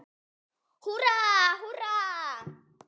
Húrra, húrra!